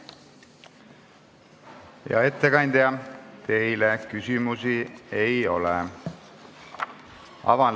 Hea ettekandja, teile küsimusi ei ole.